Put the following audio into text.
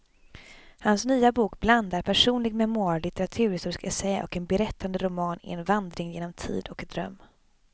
Hans nya bok blandar personlig memoar, litteraturhistorisk essä och berättande roman i en vandring genom tid och dröm.